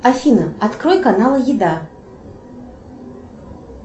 афина открой канал еда